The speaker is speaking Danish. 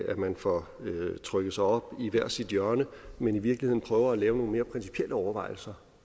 at man får trykket sig op i hvert sit hjørne men i virkeligheden prøver at lave nogle mere principielle overvejelser